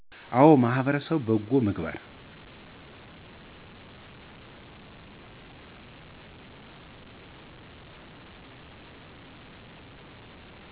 አወ በማህበረሰብ በጎ ምግባር